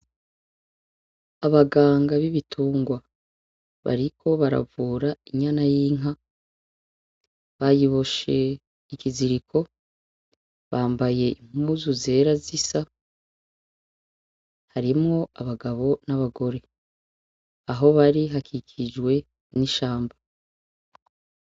Abaganga b' ibitungwa, bariko baravura inyana y' inka, bayiboshe ikiziriko bambaye impuzu zera zisa, harimwo abagabo n' abagore, aho bari hakikijwe n' ishamba.